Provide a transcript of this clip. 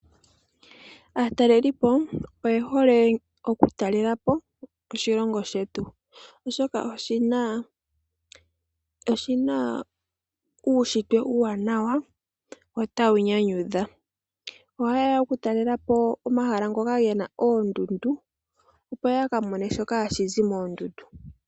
Aatalelipo oye hole okutalela po oshilongo shetu, oshoka oshina uunshitwe uuwanawa wo tawu nyanyudha. Ohaye ya okutalela po omahala ngoka gena oondundu, opo ya ka mone shoka hashi zi moondundu.